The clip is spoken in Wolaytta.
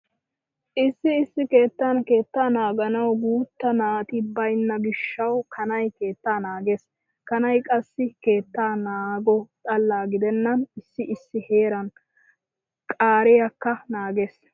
Issi issi keettan keettaa naaganawu guutta naati baynna gishshawu kanay keettaa naagees. Kanay qassi keetta naago xalla gidennan issi issi heeran qaariyakka naagees